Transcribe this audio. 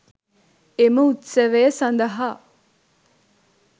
එම උත්සවය සඳහා